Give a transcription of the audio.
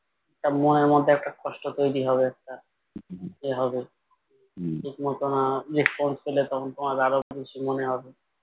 তার মনের মধ্যে একটা কষ্ট তৈরি হবে একটা এ হবে ঠিক মতো না response পেলে তখন তোমার আরো বেশি মনে হবে